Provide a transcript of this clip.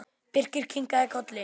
Birkir kinkaði kolli.